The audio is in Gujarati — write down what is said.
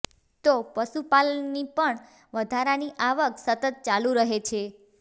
તો પશુપાલનની પણ વધારાની આવક સતત ચાલુ રહે છે